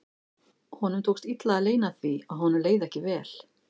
Honum tókst illa að leyna því að honum leið ekki vel.